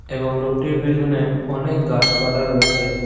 এবং লোকটির পেছনে অনেক গাছপালা রয়েছে।